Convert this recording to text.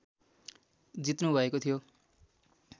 जित्नु भएको थियो